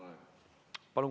Palun!